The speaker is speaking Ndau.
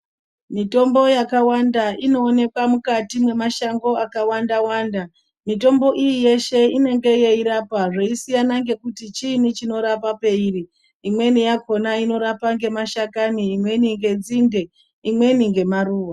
Mitombo yakawanda inoonekwa mukati memashango akawanda-wanda. Mitombo iyi yeshe inenge yeirapa zveisiyana ngekuti chiinyi chinorapa peiri . Imweni yakhona inorapa ngemashakani ,imweni ngenzinde ,imweni ngemaruwa.